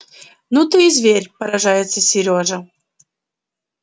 ну ты и зверь поражается серёжа